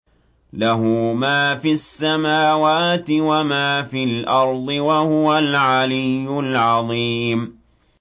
لَهُ مَا فِي السَّمَاوَاتِ وَمَا فِي الْأَرْضِ ۖ وَهُوَ الْعَلِيُّ الْعَظِيمُ